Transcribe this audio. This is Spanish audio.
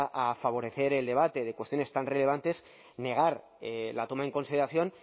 a favorecer el debate de cuestiones tan relevantes negar la toma en consideración